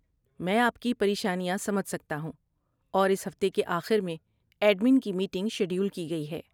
میں آپ کی پریشانیاں سمجھ سکتا ہوں اور اس ہفتے کے آخر میں ایڈمن کی میٹنگ شیڈول کی گئی ہے۔